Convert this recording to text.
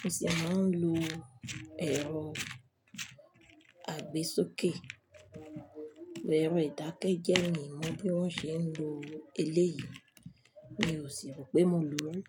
mo sì máa ń lo ẹ̀rọ àgbésókè. Bo ẹ̀rọ ìdákẹ́jẹ́ mi mọ̀ bí wọ́n ṣe ń lo eléyìí, mi ò sì rò pé mo lò ri.